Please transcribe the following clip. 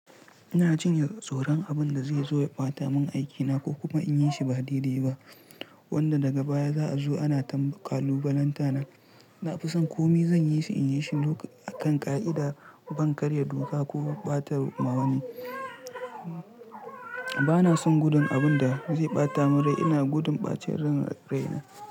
Ina jin ye tsoron abin da zai zo ya ɓata mun aikina ko kuma in yi shi ba daidai ba wanda daga baya za'a zo ana ta kalubalanta na. Na fi son komai zan yi shi in yi shi akan ƙa'ida ban karya doka ko ɓata ma wa wani. Bana son gudun abin da zai ɓata mun rai, ina gudun ɓacin ran raina.